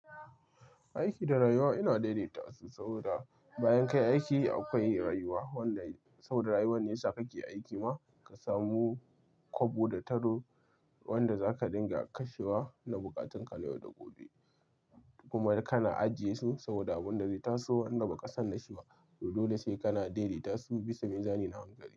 Aiki da rayuwa ina daidaita su, saboda bayan ka yi aiki akwai rayuwa. Wanda saboda rayuwar ne sakake aiki ma ka samu kwabo da taro wanda zaka dinga kashewa na buƙatun ka na yau da gobe. Kuma kana ajiye su, saboda abin da zai taso wanda ba ka san da shi ba. Toh dole sai kana daidaita su, bisa nin zane na hangare.